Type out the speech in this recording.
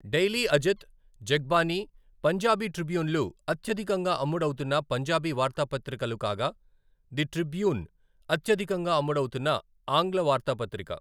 Daily Ajit, Jagbani, Punjabi ట్రిబ్యూన్లు అత్యధికంగా అమ్ముడవుతున్న పంజాబీ వార్తాపత్రికలు కాగా, ది ట్రిబ్యూన్ అత్యధికంగా అమ్ముడవుతున్న ఆంగ్ల వార్తాపత్రిక.